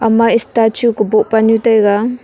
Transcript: ema statue kobuh panu taiga.